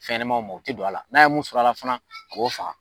Fɛnɲɛma o mɔgɔ te don a la n'a ye mun sɔrɔ ala fana a b'o faga